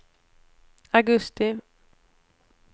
augusti